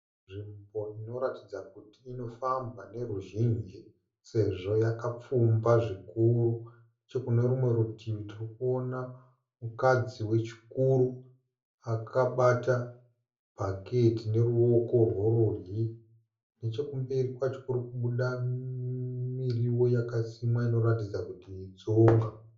Nzvimbo inoratidza kuti inofambwa neruzhinji sezvo yakapfumba zvikuru neche kune rumwe rutivi tirikuona mukadzi wechikuru akabata bhaketi neruoko rwerudyi, nechekumberi kwacho kuri kubuda miriwo yakasimwa inoratidza kuti itsunga.